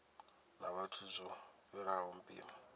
na vhathu zwo fhiraho mpimo